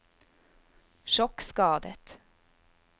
sjokkskadet